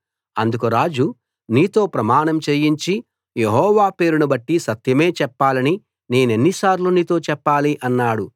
అందుకు రాజు నీతో ప్రమాణం చేయించి యెహోవా పేరును బట్టి సత్యమే చెప్పాలని నేనెన్నిసార్లు నీతో చెప్పాలి అన్నాడు